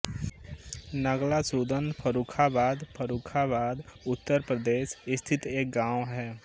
नगला सूदन फर्रुखाबाद फर्रुखाबाद उत्तर प्रदेश स्थित एक गाँव है